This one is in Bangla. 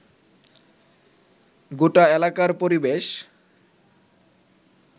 গোটা এলাকার পরিবেশ